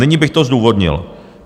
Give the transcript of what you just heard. Nyní bych to zdůvodnil.